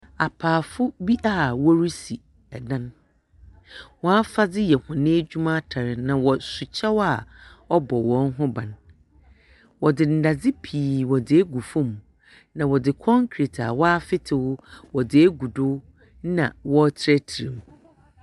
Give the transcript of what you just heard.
Apaafo bi a worisi dan. Hɔn afadze yɛ hɔn edwuma atar, na wɔso kyɛw a ɔbɔ hɔn ho ban. Wɔdze ndadze pii wɔdze egu fam, na wɔdze kɔnkret a wɔafetew wɔdze egu do na wɔreterɛterɛ mu.